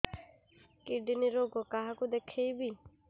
kidney ରୋଗ କାହାକୁ ଦେଖେଇବି